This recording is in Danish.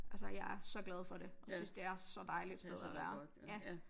Altså jeg er så glad for det jeg syens det er så dejligt et sted at være ja